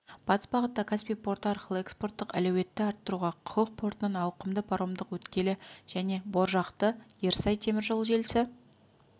батыс бағытта каспий порты арқылы экспорттық әлеуетті арттыруға құрық портынан ауқымды паромдық өткелі және боржақты ерсай теміржол желісі